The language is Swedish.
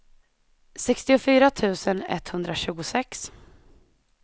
sextiofyra tusen etthundratjugosex